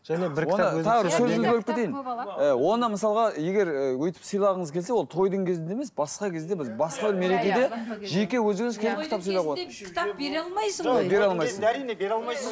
і оны мысалға егер өйтіп сыйлағыңыз келсе ол тойдың кезінде емес басқа кезде бір басқа мерекеде жеке өзіңіз келіп кітап сыйлауға болады